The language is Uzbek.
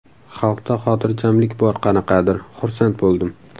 Xalqda xotirjamlik bor qanaqadir, xursand bo‘ldim.